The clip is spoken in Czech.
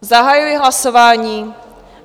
Zahajuji hlasování.